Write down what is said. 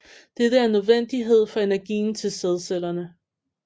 Dette er en nødvendighed for energien til sædcellerne